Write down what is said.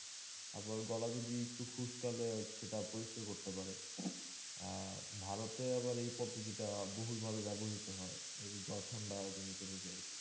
আবার গলা যদি একটু খুশকালে সেটা পরিষ্কার করতে পারে আহ ভারতে আবার এই পদ্ধতিটা বহুল ভাবে ব্যবহৃত হয়ে এই জ্বর ঠান্ডা জড়িত রোগে আর কি